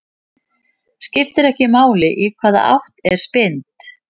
Skiptir ekki máli í hvaða átt er spyrnt.